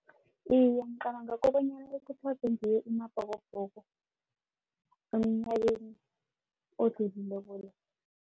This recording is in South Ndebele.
Iye ngicabanga kobanyana bakuthazwe ngiwo amabhokobhoko emnyakeni odlulileko lo.